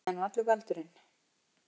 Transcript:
Það er nú allur galdurinn.